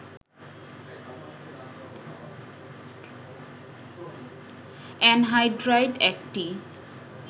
anhydride একটি